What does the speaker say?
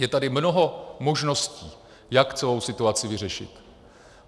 Je tady mnoho možností, jak celou situaci vyřešit.